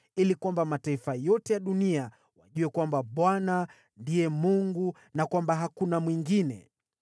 ili kwamba mataifa yote ya dunia wajue kwamba Bwana ndiye Mungu na kwamba hakuna mwingine.